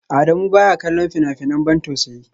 Adamu baya kallon fina-finan ban tausayi